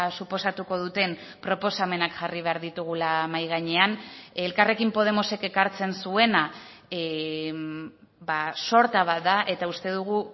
suposatuko duten proposamenak jarri behar ditugula mahai gainean elkarrekin podemosek ekartzen zuena sorta bat da eta uste dugu